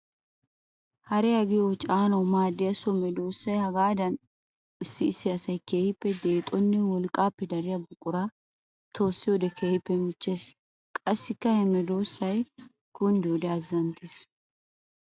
Hariya giyo caananawu maadiya so medosa hagaadan issi issi asay keehippe deexonne wolqqappe dariya buqura toossiyoode keehippe michchees. Qassikka ha medosay kunddiyoode azanttes.